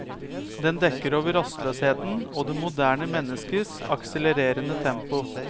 Den dekker over rastløsheten og det moderne menneskes akselererende tempo.